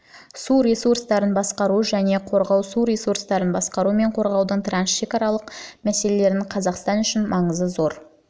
су ресурстарын басқару және қорғау су ресурстарын басқару мен қорғаудың трансшекаралық мәселелерінің қазақстан үшін маңызы зор